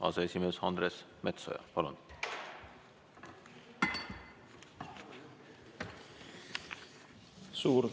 Aseesimees Andres Metsoja, palun!